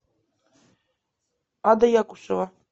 ада якушева